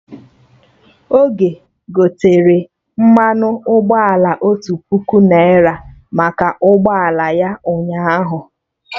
Ogo gotere mmanụ ụgbọala otu puku naira maka ọkada ya ụnyaahụ